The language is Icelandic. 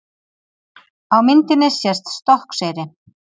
Á myndinni sést Stokkseyri.